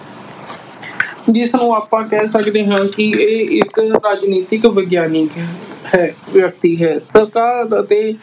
ਜਿਸ ਨੂੰ ਆਪਾਂ ਕਹਿ ਸਕਦੇ ਹਾਂ ਕਿ ਇਹ ਇੱਕ ਰਾਜਨੀਤਿਕ ਵਿਗਿਆਨੀ ਹੈ, ਵਿਅਕਤੀ ਹੈ। ਸਰਕਾਰ ਅਤੇ